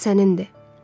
Qərar sənindir.